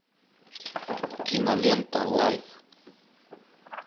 кинолента лайф